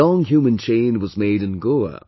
A long human chain was made in Goa